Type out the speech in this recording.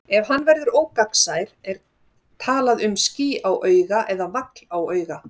Ef hann verður ógegnsær er talað um ský á auga eða vagl á auga.